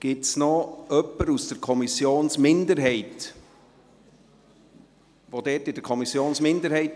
Gibt es jemanden von der Kommissionsminderheit?